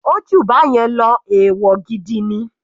Ó jù báyẹn lọ, ẹ̀wọ̀ gidi ni.